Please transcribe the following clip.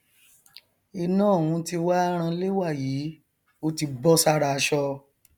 iná ọhún ti wá ranlé wàyí ó ti bọ sára aṣọ